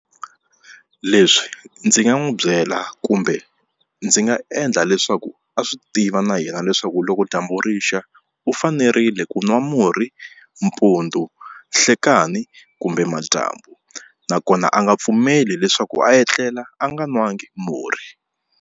Leswi ndzi nga n'wi byela kumbe ndzi nga endla leswaku a swi tiva na yena leswaku loko dyambu rixa u fanerile ku nwa murhi mpundzu nhlekani kumbe madyambu nakona a nga pfumeli leswaku a etlela a nga nwangi murhi.